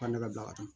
Ka ne ka bila ka taa